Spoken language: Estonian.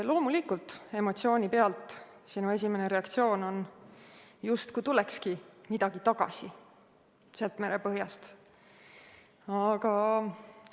Loomulikult, emotsiooni pealt on esimene reaktsioon, justkui tulekski midagi sealt merepõhjast tagasi.